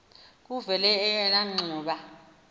kuvele eyona ngxuba